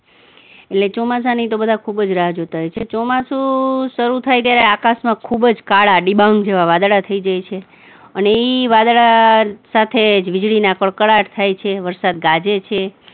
એટલે ચોમાસાની બધા ખુબ જ રાહ જોતા હોય છે, ચોમાસુ શરુ થાય ત્યારે આકાશમાં ખુબ જ કાળા ડિબાંગ જેવા વાદળા થઇ જાય છે અને ઈ વાદળા સાથે જ વીજળીના કકળાટ થાય છે, વરસાદ ગાજે છે.